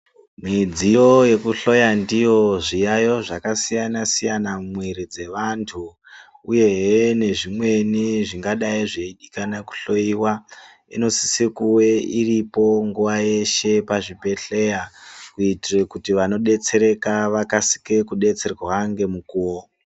Midziyo yekuhloya ndiyo zviyayo zvakasiyanasiyana mumwiri dzeantu uyehe nezvimweni zvingadai zveidikana kuhloyiwa inosise kunge iripo nguwa dzeshe pachibhehleya kuitire kuti vanodetserwa vakasire kudetsereka ngemukuwo.